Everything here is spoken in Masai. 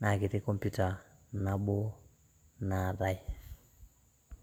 naa ketii computer nabo naatae.